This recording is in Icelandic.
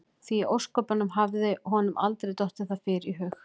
Því í ósköpunum hafði honum aldrei dottið það fyrr í hug?